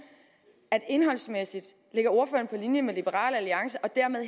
at indholdsmæssigt ligger ordføreren på linje med liberal alliance og dermed